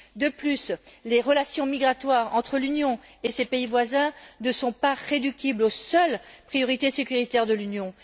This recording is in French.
De plus, les relations migratoires entre l'Union et ses pays voisins ne peuvent pas se réduire aux seules priorités sécuritaires de l'Union.